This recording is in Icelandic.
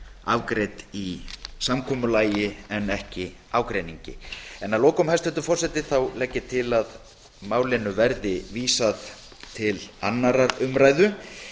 afgreidd í samkomulagi en ekki í ágreiningi ég legg til að málinu verði vísað til annarrar umræðu